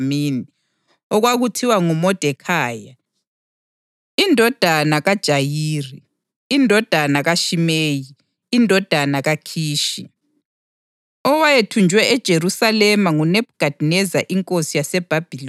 Kwakukhona esigodlweni saseSusa umJuda owendlu yakoBhenjamini, okwakuthiwa nguModekhayi, indodana kaJayiri, indodana kaShimeyi, indodana kaKhishi,